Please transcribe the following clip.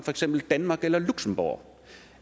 danmark eller luxembourg